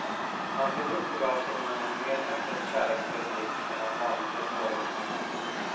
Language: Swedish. Han såg upp och gav sonen en mer öppet kärleksfull blick än han vanligtvis vågade sig på.